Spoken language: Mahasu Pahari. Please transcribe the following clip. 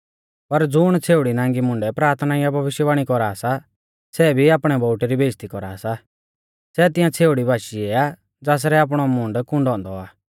पर ज़ुण छ़ेउड़ी नांगी मुंडै प्राथना या भविष्यवाणी कौरा सा सै भी आपणै बोउटै री बेइज़्ज़ती कौरा सा सै तिंआ छ़ेउड़ी बाशीऐ आ ज़ासरै आपणौ मूंड कून्डौ औन्दौ आ